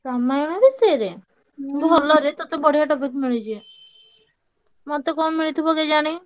ରାମାୟଣ ବିଷୟରେ ଭଲରେ ତତେ ବଢିଆ topic ମିଳିଛି। ମତେ କଣ ମିଳିଥିବ କେଜାଣି।